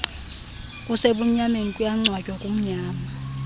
kusebumnyameni kuyangcwatywa kumnyama